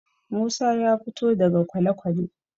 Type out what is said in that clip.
Musa ya fito daga kwalekwale.